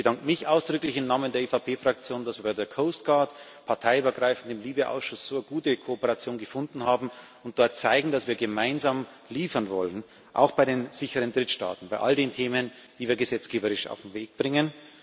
Ich bedanke mich ausdrücklich im Namen der EVP Fraktion, dass wir bei der Coast Guard parteiübergreifend im LIBE Ausschuss eine so gute Kooperation gefunden haben und dort zeigen, dass wir gemeinsam liefern wollen, auch bei den sicheren Drittstaaten, bei all den Themen, die wir gesetzgeberisch auf den Weg bringen.